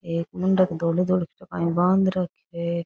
एक मिनख धोळो धोळो काई बांध राखो है।